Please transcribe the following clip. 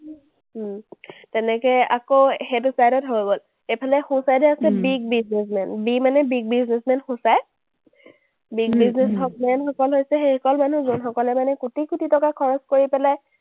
উম তেনেকে আকৌ সেইটো private হৈ গ’ল। এইফালে সোঁ side এ আছে big businessman, B মানে big businessman সূচায়। big businessman সকল হৈছে সেইসকল মানুহ যোনসকলে মানে কোটি কোটি টকা খৰচ কৰি পেলাই